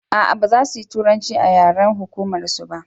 a'a baza su turanci a yaren hukumar su ba